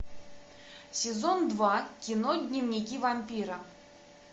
сезон два кино дневники вампира